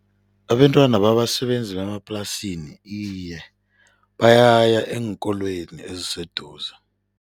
Abentwana babasebenzi bemaplasini iye, bayaya eenkolweni eziseduze.